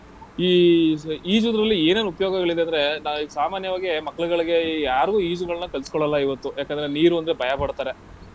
ಈಜ್ ಈಜುವುದ್ರಲ್ಲಿ ಏನೇನ್ ಉಪಯೋಗಗಳಿದೆ ಅಂದ್ರೆ ನಾವ್ ಈಗ ಸಾಮಾನ್ಯವಾಗಿ ಮಕ್ಳ್ಗಳಿಗೆ ಯಾರ್ಗೂ ಈಜ್ಗಳನ್ನ ಕಲ್ಸ್ಕೊಳ್ಳಲ್ಲ ಇವತ್ತು ಯಾಕಂದ್ರೆ ನೀರು ಅಂದ್ರೆ ಭಯಪಡ್ತಾರೆ.